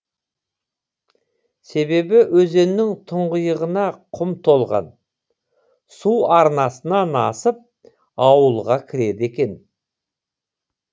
себебі өзеннің тұңғиығына құм толған су арнасынан асып ауылға кіреді екен